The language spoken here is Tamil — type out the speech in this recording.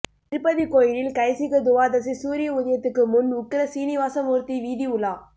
திருப்பதி கோயிலில் கைசிக துவாதசி சூரிய உதயத்துக்கு முன் உக்ர சீனிவாசமூர்த்தி வீதி உலா